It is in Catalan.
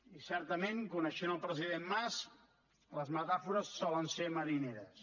i certament coneixent el president mas les metàfores solen ser marineres